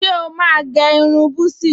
Ṣé o máa ní gẹ́ irun búsí?